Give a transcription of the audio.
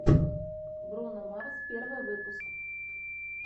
бруно марс первый выпуск